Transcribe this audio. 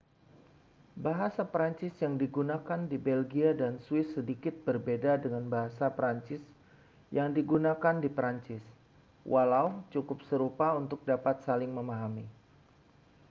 bahasa prancis yang digunakan di belgia dan swiss sedikit berbeda dengan bahasa prancis yang digunakan di prancis walau cukup serupa untuk dapat saling memahami